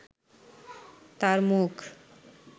তার মুখ